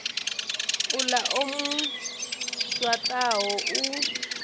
uḽa o mu swaṱaho u